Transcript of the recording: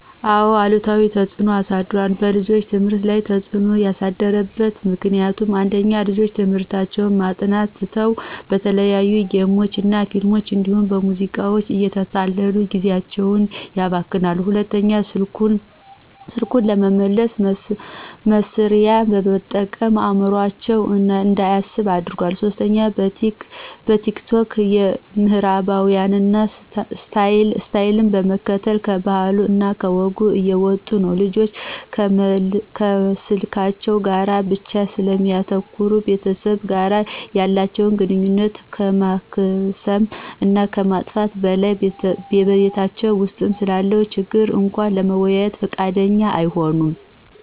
አዎ አሉታዊ ተፅዕኖ አሳድሯል። በልጆች ትምህርት ላይ ተፅዕኖ ያሳደረበት ምክንያት፦ ፩) ልጆች ትምህርታቸውን ማጥናት ትተው በተለያዩ ጌሞች እና ፊልሞች እንዲሁም በሙዚቃዎች እየተታለሉ ጊዜአቸውን ያባክናሉ። ፪) ስልኩን ለመልስ መስሪያ በመጠቀም አዕምሮአቸው እንዳያስብ አድርጓል። ፫) በቲክቶክ የምዕራባውያንን ስታይል በመከተል ከባህሉ እና ከወጉ እየወጡ ነው። ልጆች ከስልካቸው ጋር ብቻ ስለሚያተኩሩ ከቤተሰብ ጋር ያላተቸውን ግንኙነት ከማክሰም እና ከማጥፋት በላይ በቤታቸው ውስጥ ስላለ ችግር እንኳ ለመወያየት ፍቃደኛ አይሆኑም።